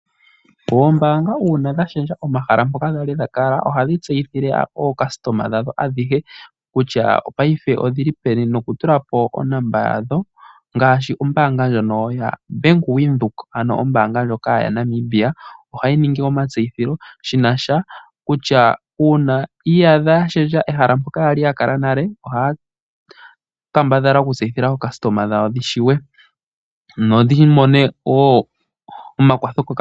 Oombaanga uuna dha shendja omahala mpoka dha li dha kala ohadhi tseyithile aayakulwa yawo ayehe kutya paife oye li peni nokutula po onomola yawo ngaashi ombaanga ndjono yaBank Windhoek, ano ombaanga ndjoka yaNamibia ohayi ningi omatseyitho shi na sha kutya uuna yi iyadha ya shendja ehala mpoka ya li ya kala nale ohaa kambadhala okutseyithila aayakulwa yawo ya tseye noya mone wo omakwatho.